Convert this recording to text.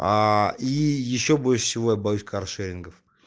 аа и ещё больше всего я боюсь каршерингов